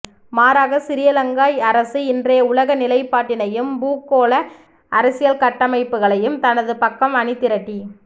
மாறாக சிறிலங்கா அரசு இன்றைய உலக நிலைப்பாட்டினையும் பூகோள அரசியல் கட்டமைப்புகளையும் தனது பக்கம் அணிதிரட்டி